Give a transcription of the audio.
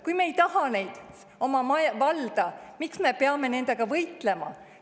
Kui me ei taha neid oma valda, miks me peame nendega võitlema?